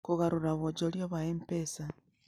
Kũgarũra wonjoria wa M-pesa: